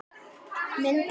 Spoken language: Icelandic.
Minn pabbi.